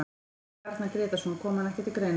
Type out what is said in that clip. Hvað með Arnar Grétarsson, kom hann ekki til greina?